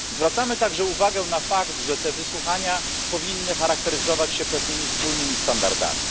Zwracamy także uwagę na fakt, że te wysłuchania powinny charakteryzować się pewnymi wspólnymi standardami.